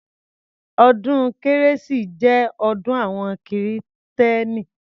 Ọdún kérésì jẹ́ ọdún àwọn kìrìtẹ́nì.